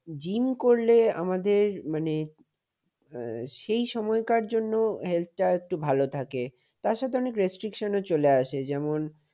gym করলে আমাদের মানে আহ সেই সময়টার জন্য আমাদের মানে health টা একটু ভালো থাকে। তার সাথে অনেক restriction ও চলে আসে যেমন,